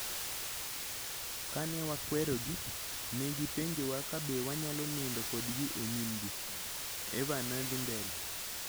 Kane wakwerogi, ne gipenjowa kabe wanyalo nindo kodgi e nyimgi". Eva nothi mbele